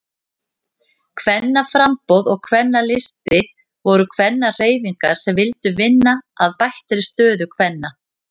Kvennaframboð og Kvennalisti voru kvennahreyfingar sem vildu vinna að bættri stöðu kvenna.